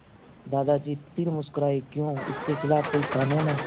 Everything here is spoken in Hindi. दादाजी फिर मुस्कराए क्यों इसके खिलाफ़ कोई कानून है